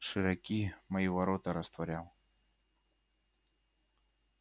широки мои ворота растворял